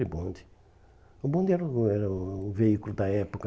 de bonde. O bonde era o era o veículo da época.